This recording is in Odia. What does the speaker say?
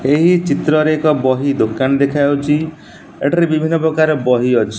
ଏହି ଚିତ୍ରରେ ଏକ ବହି ଦୋକାନ ଦେଖାଯାଉଛି ଏଠାରେ ବିଭିନ୍ନ ପ୍ରକାର ବହି ଅଛି।